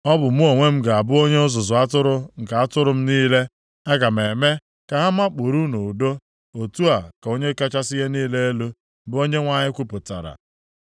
Ọ bụ mụ onwe m ga-abụ onye ọzụzụ atụrụ nke atụrụ m niile. Aga m eme ka ha makpuru nʼudo, otu a ka Onye kachasị ihe niile elu, bụ Onyenwe anyị kwupụtara.